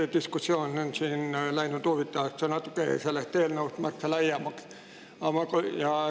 See diskussioon on siin läinud huvitavaks, sellest eelnõust märksa laiemaks.